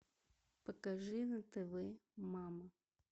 покажи на тв мама